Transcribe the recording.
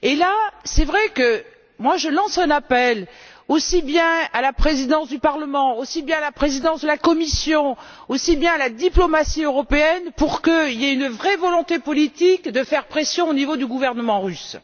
Sur ce point, je lance un appel aussi bien à la présidence du Parlement qu'à la présidence de la Commission et à la diplomatie européenne, pour qu'il y ait une vraie volonté politique de faire pression au niveau du gouvernement russe.